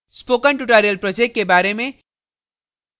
spoken tutorial project के बारे में